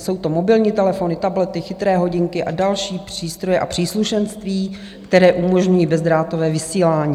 Jsou to mobilní telefony, tablety, chytré hodinky a další přístroje a příslušenství, které umožňují bezdrátové vysílání.